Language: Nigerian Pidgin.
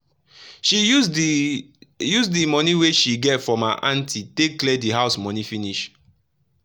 she use the use the money wey she get from her aunty take clear the house money finish.